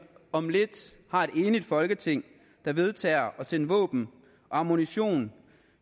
om lidt har et enigt folketing der vedtager at sende våben og ammunition